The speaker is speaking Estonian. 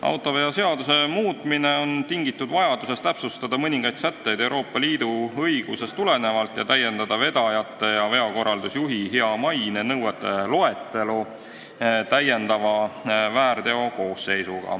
Autoveoseaduse muutmine on tingitud vajadusest täpsustada Euroopa Liidu õigusest tulenevalt mõningaid sätteid ning lisada vedaja ja veokorraldusjuhi hea maine nõuete loetellu täiendav väärteokoosseis.